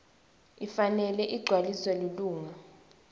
ifanele igcwaliswe lilunga